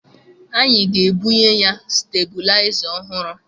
Anyị ga-ebunye ya stebilaịza ọhụrụ